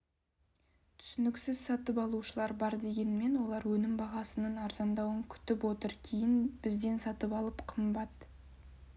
түсініксіз сатып алушылар бар дегенмен олар өнім бағасының арзандауын күтіп отыр кейін бізден сатып алып қымбат